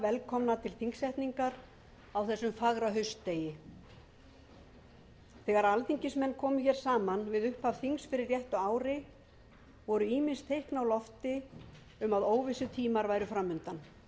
velkomna til þingsetningar á þessum fagra haustdegi þegar alþingismenn komu hér saman við upphaf þings fyrir réttu ári voru ýmis teikn á lofti um að óvissutímar væru fram undan en